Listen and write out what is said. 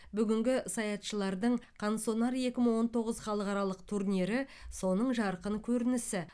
бүгінгі саятшылардың қансонар екі мың он тоғыз халықаралық турнирі соның жарқын көрінісі